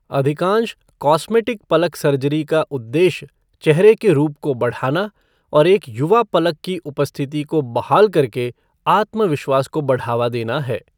अधिकांश कॉस्मेटिक पलक सर्जरी का उद्देश्य चेहरे के रूप को बढ़ाना और एक युवा पलक की उपस्थिति को बहाल करके आत्मविश्वास को बढ़ावा देना है।